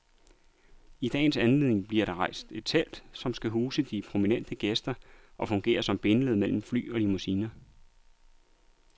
I dagens anledning bliver der rejst et telt, som skal huse de prominente gæster og fungere som bindeled mellem fly og limousiner.